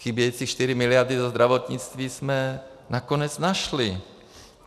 Chybějící čtyři miliardy do zdravotnictví jsme nakonec našli.